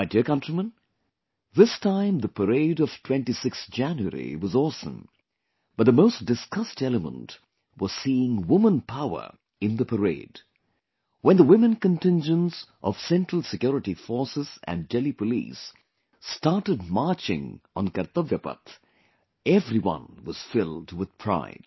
My dear countrymen, this time the parade of 26th January was awesome, but the most discussed element was seeing Women Power in the Parade... when the women contingents of Central Security Forces and Delhi Police started marching on Kartavya path, everyone was filled with pride